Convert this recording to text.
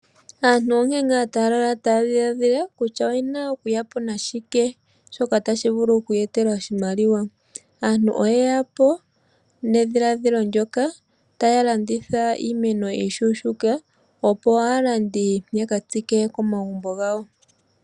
Aantu onkee ngaa taya lala taya dhiladhila kutya oyena okuyapo nashike shoka tashi vulu okuyeetela oshimaliwa. Aantu oye yapo nedhiladhilo ndyoka taya landitha iimeno mbyoka iishuushuuka . Opo aalandi yaka tsike komagumbo gawo.